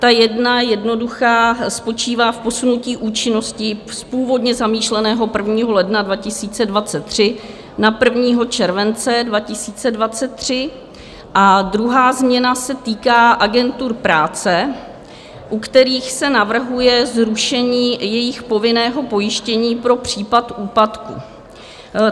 Ta jedna, jednoduchá, spočívá v posunutí účinnosti z původně zamýšleného 1. ledna 2023 na 1. července 2023 a druhá změna se týká agentur práce, u kterých se navrhuje zrušení jejich povinného pojištění pro případ úpadku.